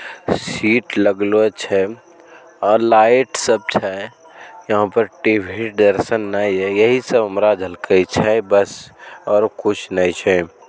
Seat लग्लो छै और लाइट सब छै यहाँ पर टी_वी यही सब हमरा झलकय छै बस और कुछ नय छै।